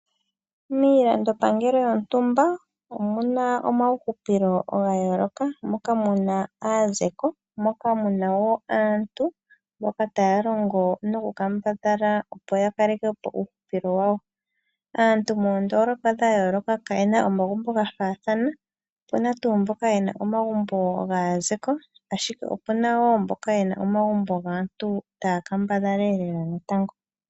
Miilandopangelo yontumba omu na omawuhupilo ga yooloka, moka mu na aazeko, moka mu na wo aantu mboka taya longo nokukambadhala opoya kakeke po uuhupilo wayo. Aantu moondoolopa kaye na omagumbo gafaathana. Opu na tuu omagumbo gaazeko, ashike opu na wo omagumbo gaantu taya kambadhala lela natango.